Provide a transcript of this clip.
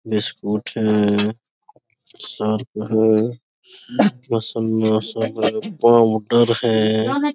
Biscuit है Surf है powder है ।